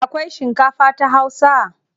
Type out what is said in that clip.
Akwai shinkafa ta Hausa?